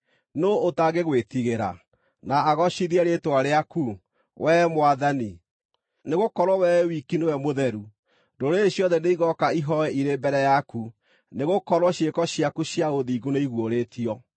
Nũũ ũtangĩgwĩtigĩra, na agoocithie rĩĩtwa rĩaku, wee Mwathani? Nĩgũkorwo Wee wiki nĩwe Mũtheru. Ndũrĩrĩ ciothe nĩigooka ihooe irĩ mbere yaku, nĩgũkorwo ciĩko ciaku cia ũthingu nĩiguũrĩtio.”